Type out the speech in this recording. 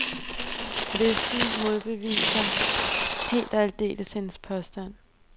Listen modbeviser helt og aldeles hendes påstand.